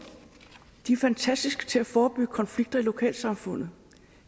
de er fantastiske til at forebygge konflikter i lokalsamfundet